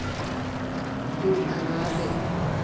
d uma ngabe